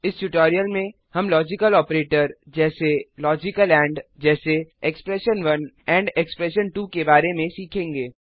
इस ट्यूटोरियल में हम लॉजिकल ऑपरेटर जैसे लॉजिकल एंड जैसे एक्सप्रेशन1 एक्सप्रेशन2 के बारे में सीखेंगे